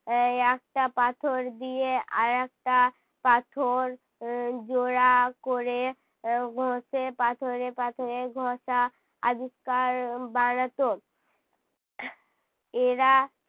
এর একটা পাথর দিয়ে আরেকটা পাথর এর জোড়া করে আহ ঘষে, পাথরে পাথরে ঘষা আবিষ্কার বানাতো। এরা